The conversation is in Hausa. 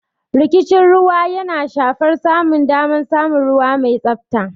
Rikicin ruwa yana shafar samun damar samun ruwa mai tsabta.